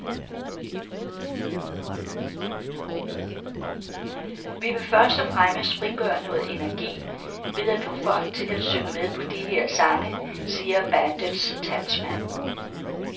Vi vil først og fremmest frigøre noget energi ved at få folk til at synge med på de her sange, siger bandets talsmand.